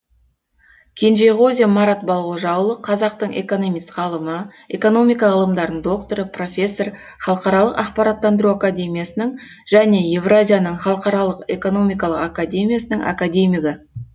кенжеғозин марат балғожа ұлы қазақтың экономист ғалымы экономика ғылымдарының докторы профессор халықаралық ақпараттандыру академиясының және евразияның халықаралық экономикалық академиясының академигі